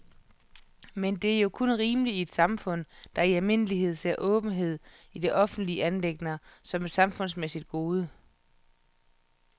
Men det er jo kun rimeligt i et samfund, der i almindelighed ser åbenhed i offentlige anliggender som et samfundsmæssigt gode.